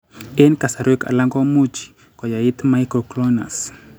Eng' kasarwek alak komuchi koyait myoclonus